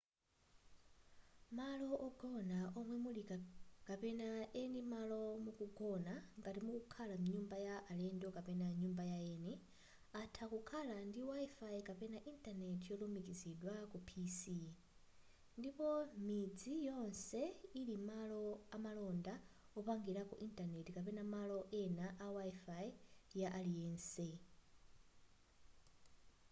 malo ogona omwe muli kapena eni malo mukugona ngati mukukhala mnyumba ya alendo kapena nyumba yaeni atha kukhala ndi wifi kapena intaneti yolumikizidwa ku pc ndipo midzi yonse ili malo amalonda wopangirako intaneti kapena malo ena a wifi ya aliyense